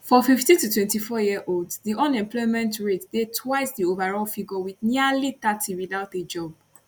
for 15to24yearolds diunemployment rate dey twice di overall figure wit nearly thirty without a job